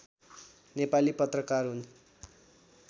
नेपाली पत्रकार हुन्